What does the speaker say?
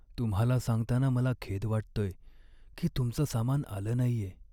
तुम्हाला सांगताना मला खेद वाटतोय की तुमचं सामान आलं नाहीये.